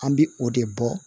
An bɛ o de bɔ